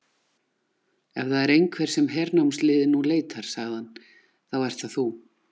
Ef það er einhver sem hernámsliðið nú leitar, sagði hann,-þá ert það þú.